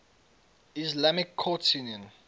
islamic courts union